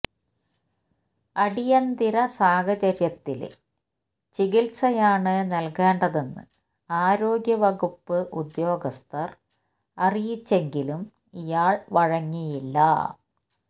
അടിയന്തര സാഹചര്യത്തില് ചികിത്സയാണ് നല്കേണ്ടതെന്ന് ആരോഗ്യവകുപ്പ് ഉദ്യോഗസ്ഥര് അറിയിച്ചെങ്കിലും ഇയാള് വഴങ്ങിയില്ല